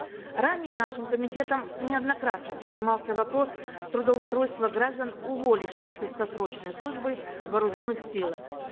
ранее нашим комитетом неоднократно поднимался вопрос трудоустройства граждан уволившихся со срочной службы в вооруженных силах